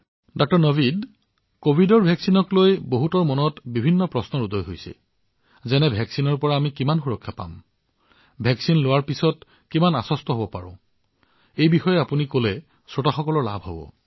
ডাঃ নাভিদ প্ৰতিষেধকক লৈ লোকসকলৰ বহুতো প্ৰশ্ন আছে যেনে কিমান সুৰক্ষা প্ৰতিষেধকে প্ৰদান কৰিব পাৰে প্ৰতিষেধক গ্ৰহণৰ পিছত তেওঁলোক কিমান আত্মবিশ্বাসী হব পাৰে আপুনি মোক ইয়াৰ বিষয়ে জনালে শ্ৰোতাসকল বহু উপকৃত হব